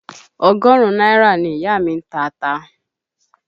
Ọgọrun náírà ni ìyá mi ń ta ata.